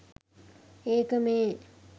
ඒක මේ.